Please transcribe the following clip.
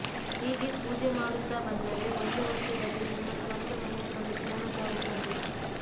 ಹೀಗೆ ಪೂಜೆ ಮಾಡುತ್ತಾ ಬಂದರೆ ಒಂದು ವರ್ಷದಲ್ಲಿ ನಿಮ್ಮ ಸ್ವಂತ ಮನೆಯ ಕನಸು ನನಸಾಗುತ್ತದೆ